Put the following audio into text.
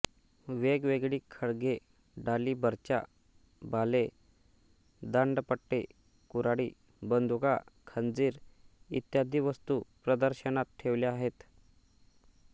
वेगवेगळी खड्गे ढाली बर्च्या भाले दांडपट्टे कुऱ्हाडी बंदुका खंजीर इत्यादी वस्तू प्रदर्शनात ठेवल्या आहेत